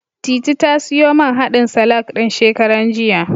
Titi ta siyo man haɗin salak ɗin, shekaran jiya.